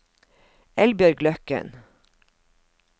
Eldbjørg Løkken